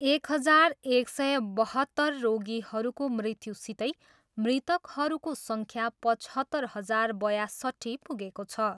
एक हजार एक सय बहत्तर रोगीहरूको मृत्युसितै मृतकहरूको सङ्ख्या पचहत्तर हजार बयासट्ठी पुगेको छ।